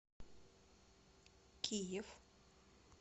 киев